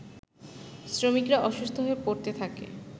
শ্রমিকরা অসুস্থ হয়ে পড়তে থাকে